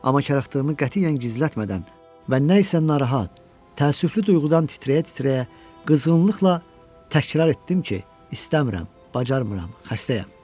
Amma karıxdığımı qətiyyən gizlətmədən və nə isə narahat, təəssüflü duyğudan titrəyə-titrəyə qızğınlıqla təkrar etdim ki, istəmirəm, bacarmıram, xəstəyəm.